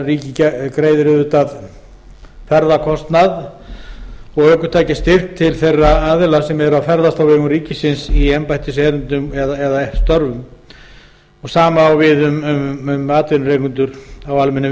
ríkið greiðir auðvitað ferðakostnað og ökutækjastyrk til þeirra aðila sem ferðast á vegum ríkisins í embættiserindum eða störfum hið sama á við um atvinnurekendur á almennum